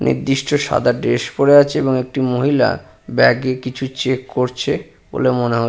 নির্দিষ্ট সাদা ড্রেস পড়ে আছে এবং একটি মহিলা ব্যাগ -এ কিছু চেক করছে বলে মনে হ--